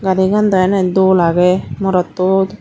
garigaan daw eney dol agey marottot.